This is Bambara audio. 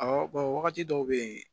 Awɔ wagati dɔw bɛ yen